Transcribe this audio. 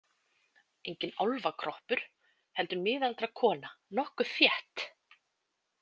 Enginn álfakroppur heldur miðaldra kona, nokkuð þétt.